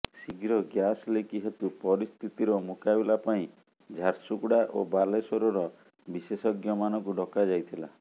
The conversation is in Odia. ଶୀଘ୍ର ଗ୍ୟାସ ଲିକ୍ ହେତୁ ପରିସ୍ଥିତିର ମୁକାବିଲା ପାଇଁ ଝାରସୁଗୁଡା ଓ ବାଲେଶ୍ୱରର ବିଶେଷଜ୍ଞମାନଙ୍କୁ ଡକାଯାଇଥିଲା